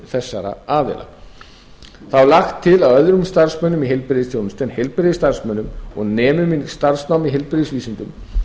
þessara aðila það er lagt til að öðrum starfsmönnum í heilbrigðisþjónustu en heilbrigðisstarfsmönnum og nemum í heilbrigðisvísindum